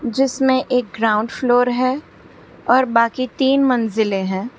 जिसमें एक ground floor है और बाकी तीन मंजिलें हैं।